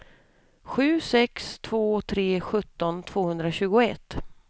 sju sex två tre sjutton tvåhundratjugoett